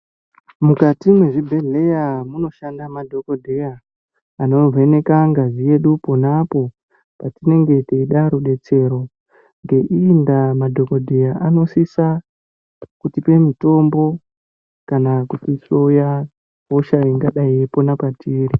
Mukati mezvibhedhleya munoshanda madhokodheya anovheneka ngazi yedu ponapo patinenge teida rudetsero ngei ndaa madhokodheya anosisa kutipe mutombo kana kutihloya hosha ingadayi yeipona petiri.